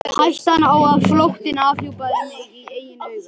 Hættan á að flóttinn afhjúpaði mig í eigin augum.